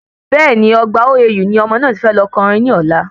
Bẹ́ẹ̀ni Ọgbà OAU ni ọmọ náà ti fẹ́ lọ ko orin ní ọ̀la